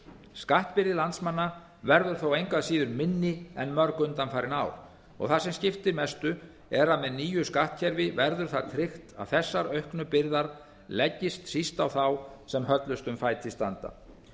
skattbyrði landsmanna verður þó engu að síður minni en mörg undanfarin ár og það sem skiptir mestu er að með nýju skattkerfi verður það tryggt að þessar auknu byrðar leggist síst á þá sem höllustum fæti standa